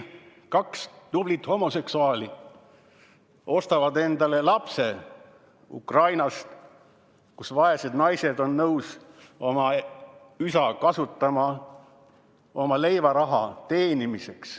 Kaks tublit homoseksuaali ostavad endale lapse Ukrainast, kus vaesed naised on nõus oma üska kasutama leivaraha teenimiseks.